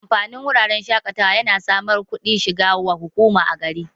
Amfanin wuraren shaƙatawa yana samar kudin shiga wa hukuma a gari